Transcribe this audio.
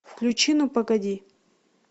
включи ну погоди